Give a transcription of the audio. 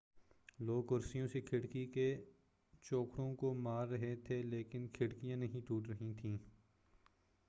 لوگ کرسیوں سے کھڑکی کے چوکھٹوں کو مار رہے تھے لیکن کھڑکیاں نہیں ٹوٹ رہی تھیں